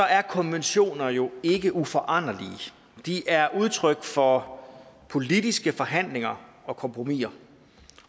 er konventioner jo ikke uforanderlige de er udtryk for politiske forhandlinger og kompromiser